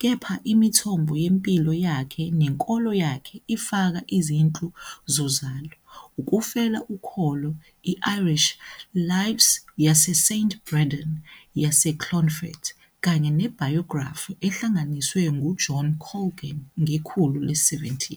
kepha imithombo yempilo yakhe nenkolo yakhe ifaka izinhlu zozalo, ukufel 'ukholo, i-Irish "Lives yaseSt Brendan yaseClonfert", kanye ne-biography ehlanganiswe nguJohn Colgan ngekhulu le-17.